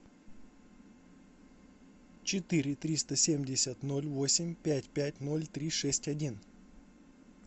четыре триста семьдесят ноль восемь пять пять ноль три шесть один